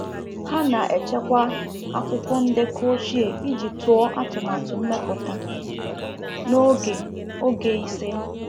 Ha na-echekwa akwụkwọ ndekọ ochie iji tụọ atụmatụ mmepụta n’oge oge ise.